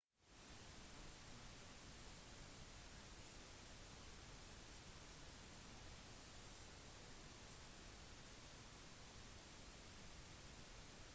først må lysbryteren slås av eller støpselet må trekkes ut av kontakten